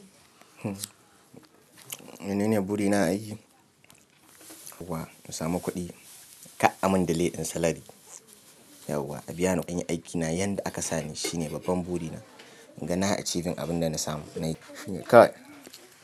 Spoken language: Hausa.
Menene burina a aiki? Yauwa, in samu kuɗi ka amin delay in salary. Yauwa, a biya ni an yi aikina. Yanda aka sani shine babban burina. He nayi achieving abin da na samu. Nayi nayi kai.